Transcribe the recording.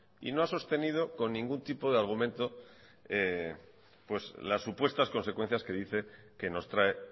y no ha sostenido con ningún tipo de argumento pues las supuestas consecuencias que dice que nos trae